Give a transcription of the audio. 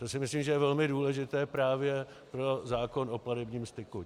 To si myslím, že je velmi důležité právě pro zákon o platebním styku.